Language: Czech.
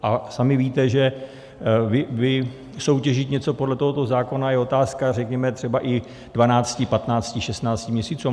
A sami víte, že vysoutěžit něco podle tohoto zákona je otázka, řekněme, třeba i 12, 15, 16 měsíců.